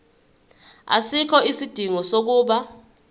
asikho isidingo sokuba